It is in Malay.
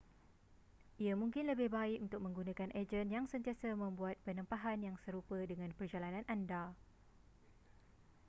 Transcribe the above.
ia mungkin lebih baik untuk menggunakan ejen yang sentiasa membuat penempahan yang serupa dengan perjalanan anda